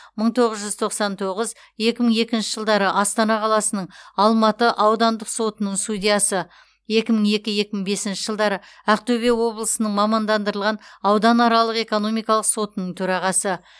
мың тоғыз тоқсан тоғыз екі мың екінші жылдары астана қаласының алматы аудандық сотының судьясы екі мың екі екі мың бесінші жылдары ақтөбе облысының мамандандырылған ауданаралық экономикалық сотының төрағасы